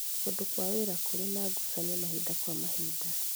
Kũndũ kwa wĩra kũrĩ na ngucanio mahinda kwa mahinda